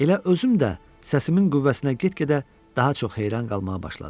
Elə özüm də səsimin qüvvəsinə get-gedə daha çox heyran qalmağa başladım.